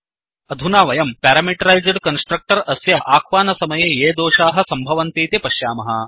अधुना वयं parameterised constructor अस्य अह्वानसमये ये दोषाः सम्भवन्तीति पश्याम